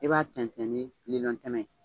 I b'a tɛntɛn ni tɛmɛ ye.